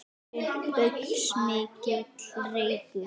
Upp gaus mikill reykur.